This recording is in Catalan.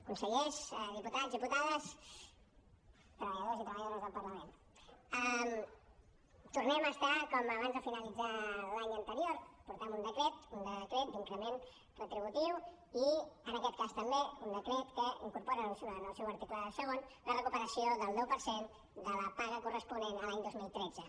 consellers diputats diputades treballadors i treballadores del parlament tornem a estar com abans de finalitzar l’any anterior portem un decret d’increment retributiu i en aquest cas també un decret que incorpora en el seu article segon la recuperació del deu per cent de la paga corresponent a l’any dos mil tretze